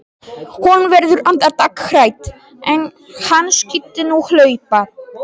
Hún verður andartak hrædd: Ef hann skyldi nú hlaupa.